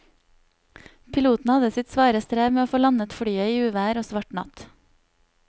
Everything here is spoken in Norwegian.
Piloten hadde sitt svare strev med å få landet flyet i uvær og svart natt.